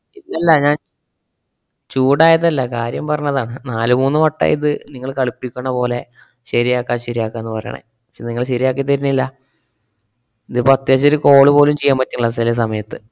അല്ലല്ലാ ഞാൻ ചൂടായതല്ല, കാര്യം പറഞ്ഞതാണ്. നാല് മൂന്ന് വട്ടായിത് നിങ്ങള് കളിപ്പിക്കണപോലെ ശെരിയാക്കാ ശെരിയാക്കാന്ന് പറേണെ. ക്ഷേ നിങ്ങള് ശെരിയാക്കിത്തരുന്നില്ല. ഇതിപ്പോ അത്യാവശ്യം ഒരു call പോലും ചെയ്യാൻ പറ്റണില്ല ചെല സമയത്ത്.